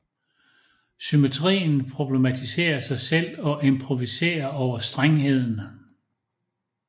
Symmetrien problematiserer sig selv og improviserer over strengheden